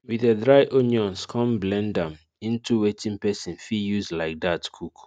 we de dry onions come blend am into wetin person fit use like that cook